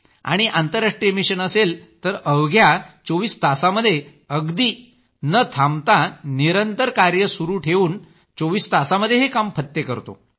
आणि आंतरराष्ट्रीय मिशन असेल तर अवघ्या 24 तासांमध्ये अगदी न थांबता निरंतर कार्य सुरू ठेवून चोविस तासात हे काम फत्ते करतो